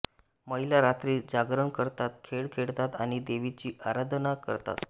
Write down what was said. महिला रात्री जागरण करतात खेळ खेळतात आणि देवीची आराधना करतात